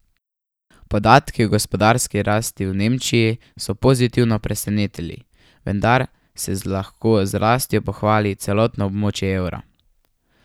Podatki o gospodarski rasti v Nemčiji so pozitivno presenetili, vendar se z lahko z rastjo pohvali celotno območje evra.